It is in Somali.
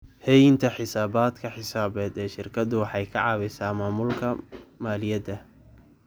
Haynta xisaabaadka xisaabeed ee shirkadu waxay ka caawisaa maamulka maaliyadda.